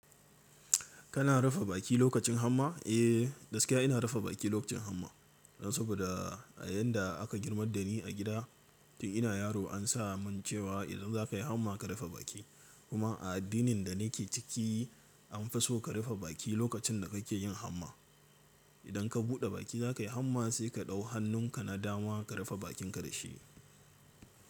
Kana rufe baki lokacin hamma? Eh, gaskiya ina rufe baki lokacin hamma. Saboda a yadda aka girmar da ni a gida, tun ina yaro ansa mun cewa idan zaka yi hamma ka rufe baki. Kuma a addinin da nake ciki anfi so ka rufe baki lokacin da kake yin hamma. Idan ka buɗe baki za ka yi hamma sai ka ɗau hannun ka na dama ka rufe bakinka da shi.